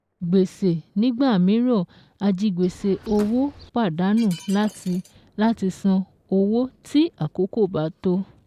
Gbèsè nígbà míràn ajigbèsè òwò pàdánù láti láti san owó tí àkókò bá tó